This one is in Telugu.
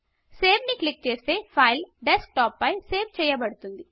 సేవ్ ని క్లిక్ చేస్తే ఫైల్ డెస్క్టాప్ పై సేవ్ చేయబడుతుంది